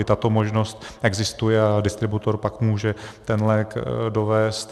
I tato možnost existuje a distributor pak může ten lék dovézt.